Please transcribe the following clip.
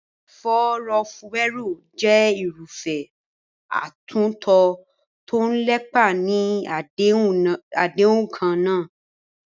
Ìfọ̀rọ̀wérọ̀ jẹ́ irúfẹ́ àtúntò tó ń lépa níní àdéhùn kan náà.